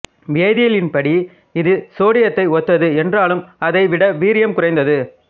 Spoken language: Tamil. வேதியியலின் படி இது சோடியத்தை ஒத்தது என்றாலும் அதை விட வீரியம் குறைந்தது